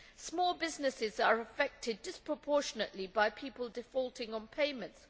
Small businesses are affected disproportionately by people defaulting on payments.